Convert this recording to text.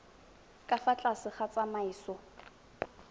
ka fa tlase ga tsamaiso